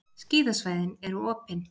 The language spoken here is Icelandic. Skíðasvæðin eru opin